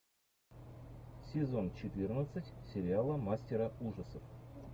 сезон четырнадцать сериала мастера ужасов